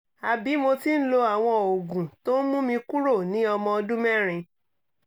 àbí mo ti ń lo àwọn oògùn tó ń mú mi kúrò ní ọmọ ọdún mẹ́rin